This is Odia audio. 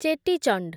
ଚେଟି ଚଣ୍ଡ୍